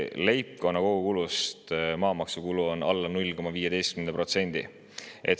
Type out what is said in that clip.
Leibkonna kogukulust on maamaksukulu alla 0,15%.